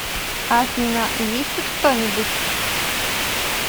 афина есть тут кто нибудь